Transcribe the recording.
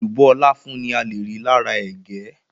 Èlùbọ́ láfún ni ale rí lára ẹ̀gẹ́.